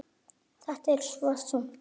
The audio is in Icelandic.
Þetta er svo þungt efni.